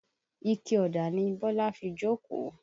Ike ọ̀dà ni Bọ́lá fi jókòó